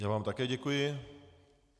Já vám také děkuji.